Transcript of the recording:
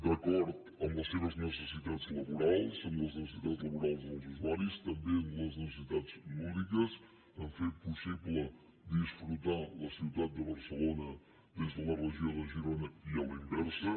d’acord amb les seves necessitats laborals amb les necessitats laborals dels usuaris també amb les necessitats lúdiques a fer possible disfrutar la ciutat de barcelona des de la regió de girona i a la inversa